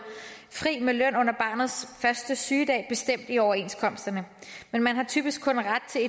fri med løn under barnets første sygedag bestemt i overenskomsterne men man har typisk kun ret